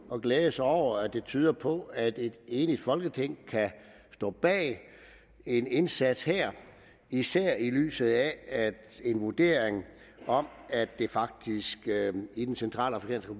og glæde sig over at det tyder på at et enigt folketing kan stå bag en indsats her især i lyset af at en vurdering om at det faktisk i den centralafrikanske